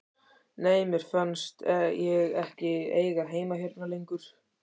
Nei, mér fannst ég ekki eiga heima hérna lengur.